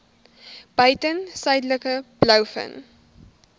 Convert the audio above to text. buiten suidelike blouvin